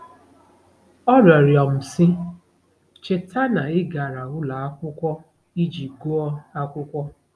Ọ rịọrọ m, sị: “Cheta na ị gara ụlọ akwụkwọ iji gụọ akwụkwọ.